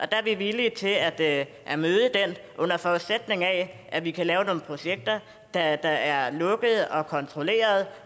der er vi villige til at at møde den under forudsætning af at vi kan lave nogle projekter der er lukkede og kontrollerede